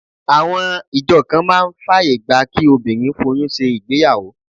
Àwọn ìjọ kan máa ń fàyè gba kí obìnrin foyún ṣe ìgbéyàwó